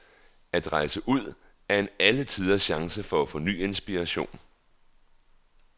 At rejse ud, er en alletiders chance for at få ny inspiration.